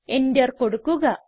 enter കൊടുക്കുക